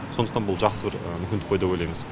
сондықтан бұл жақсы бір мүмкіндік қой деп ойлаймыз